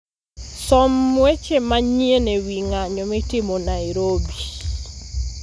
Som weche manyien e wi ng'anyo mitimo Nairobi